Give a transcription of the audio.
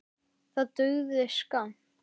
Það dugði skammt.